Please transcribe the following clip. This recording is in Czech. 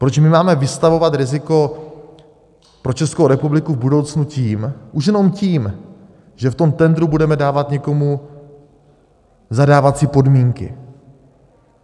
Proč my máme vystavovat riziko pro Českou republiku v budoucnu tím, už jenom tím, že v tom tendru budeme dávat někomu zadávací podmínky?